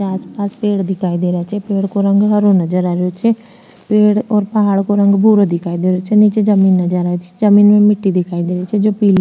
आस पास पेड़ दिखाई दे रा छे पेड़ को रंग हरो नजर आ रेहोछे पेड़ और पहाड़ को ररंग भूरो दिखाई दे रो छे निचे जमीन नजर आ री छे जमीन में मिट्टी दिखाई दे रही छे जो पिली --